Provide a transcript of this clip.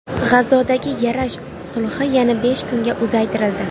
G‘azodagi yarash sulhi yana besh kunga uzaytirildi.